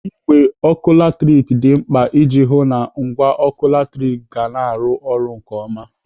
Igbe ọkụ latrik dị mkpa iji hụụ na ngwa ọkụ latrik gị na-arụ ọrụ nke ọma.